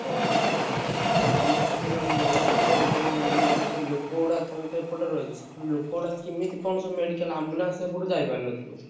ଓହୋ! ଆଉ ତମର ସେଠି ମାନେ ନଈ ସେପଟେ ଯୋଉ ମାନେ ସବୁ ଲୋକ ଗୁଡା ତମେ ତ ଏପଟରେ ରହିଛ। ସେପଟୁ ଲୋକଗୁଡା କେମିତି କଣ ସବୁ medical ambulance ସେପଟକୁ ଯାଇପାରୁନଥିବ?